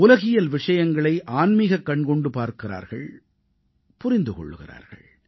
உலகியல் விஷயங்களை ஆன்மீகக் கண்கொண்டு பார்க்கிறார்கள் புரிந்து கொள்கிறார்கள்